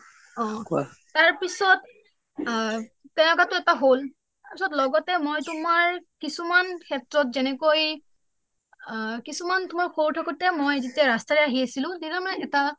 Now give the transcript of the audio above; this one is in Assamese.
অ কোৱা তাৰ পিছত আ তেনেকুৱা টো এটা হল লগতে মই তোমাৰ কিছুমান ক্ষেত্ৰত যেনেকৈ কিছুমান মই সৰু থাকোঁতে মই যেতিয়া মই ৰাস্তৰে আহি আছিলোঁ তেতিয়া মই এটা